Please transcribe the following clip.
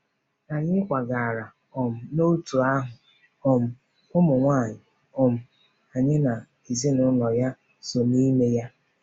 Anyị kwagara um n’òtù ahụ um ụmụnwaanyị um anyị na ezinụlọ ya so n’ime ya.